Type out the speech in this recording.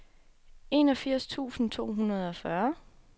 enogfirs tusind to hundrede og fyrre